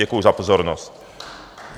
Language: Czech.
Děkuji za pozornost.